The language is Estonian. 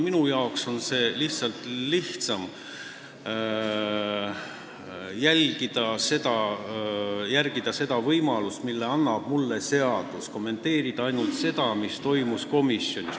Minu jaoks on võib-olla lihtsam järgida seadust, mis annab mulle võimaluse kommenteerida ainult seda, mis komisjonis toimus.